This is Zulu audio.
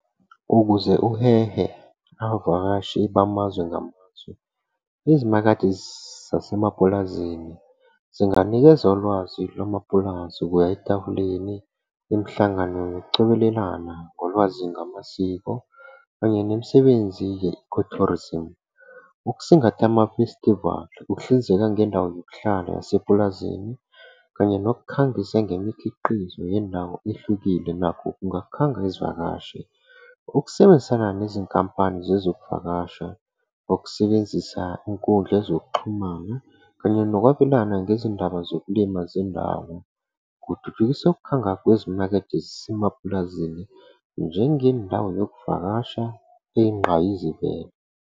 Ukuze uhehe abavakashi bamazwe ngamazwe, izimakethe zasemapulazini zinganikeza ulwazi lwamapulazi ukuya etafuleni, imihlangano yokucobelelana ngolwazi ngamasiko kanye nemisebenzi ye-ecotourism. Ukusingatha amafestivali, ukuhlinzeka ngendawo yokuhlala yasepulazini kanye nokukhangisa ngemikhiqizo yendawo ehlukile nakho kungakhanga izivakashi. Ukusebenzisana nezinkampani zezokuvakasha, nokusebenzisa iy'nkundla zokuxhumana kanye nokwabelana ngezindaba zokulima zendawo, kuthuthukisa ukukhanga kwezimakethe zasemapulazini njengendawo yokuvakasha eyinqayizivele.